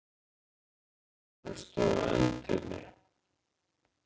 Allir stóðu á öndinni.